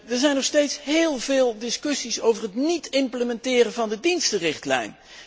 Er zijn nog steeds heel veel discussies over het niet implementeren van de dienstenrichtlijn.